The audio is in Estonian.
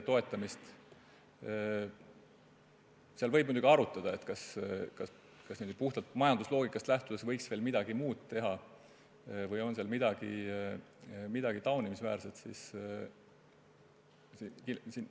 Muidugi võib arutada, kas puhtalt majandusloogikast lähtudes võiks veel midagi muud teha või on seal midagi taunimisväärset.